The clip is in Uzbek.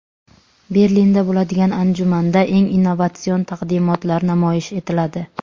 Berlinda bo‘ladigan anjumanda eng innovatsion taqdimotlar namoyish etiladi.